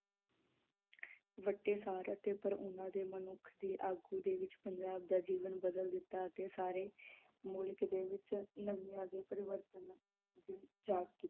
ਵੱਟੇਸਰ ਅਤੇ ਉਪਰ ਓਹਨਾ ਦੇ ਮਨੁੱਖ ਦੀ ਆਗੂ ਦੇ ਵਿਚਪੰਜਾਬ ਦਾ ਜੀਵਨ ਬਦਲ ਦਿਤਾ ਅਤੇ ਸਾਰੇ ਮੁਲਕ ਦੇ ਵਿਚ ਪਰਿਵਰਤਨ